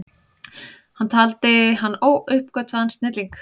Hann taldi hann óuppgötvaðan snilling.